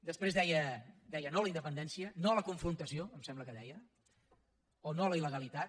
després deia no a la independència no a la confrontació em sembla que deia o no a la il·legalitat